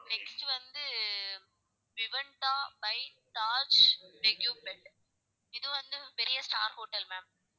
Next வந்து Vivanta by Taj எக்லிப்மென்ட் இது வந்து பெரிய star hotel ma'am.